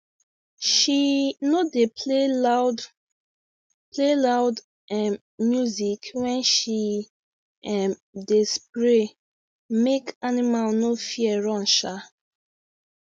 she no dey play loud play loud um music when she um dey spray make animal no fear run um